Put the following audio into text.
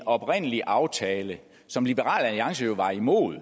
oprindelige aftale som liberal alliance jo var imod